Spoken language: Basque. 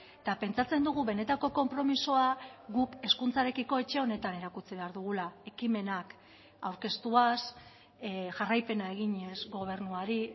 eta pentsatzen dugu benetako konpromisoa guk hezkuntzarekiko etxe honetan erakutsi behar dugula ekimenak aurkeztuaz jarraipena eginez gobernuari